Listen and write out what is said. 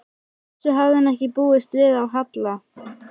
Þessu hafði hann ekki búist við af Halla.